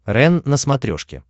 рен на смотрешке